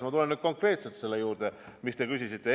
Ma tulen nüüd konkreetselt selle juurde, mida te küsisite.